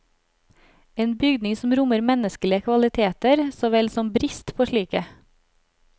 En bygning som rommer menneskelige kvaliteter, så vel som brist på slike.